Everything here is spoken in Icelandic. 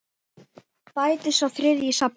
Bætist sá þriðji í safnið?